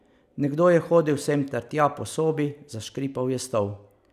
Nekdo je hodil sem ter tja po sobi, zaškripal je stol.